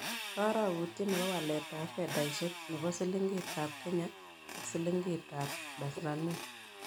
Karogutiet ne po waletap fedaisiek ne po siliingitap kenya ak silingiitap tanzania